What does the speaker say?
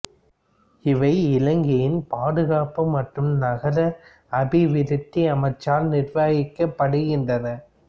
இவை இலங்கையின் பாதுகாப்பு மற்றும் நகர அபிவிருத்தி அமைச்சால் நிருவகிக்கப்படுகின்றன